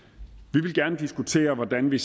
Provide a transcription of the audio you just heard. vi vil gerne diskutere hvordan vi